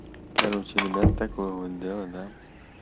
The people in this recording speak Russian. короче ребят такое вот дело да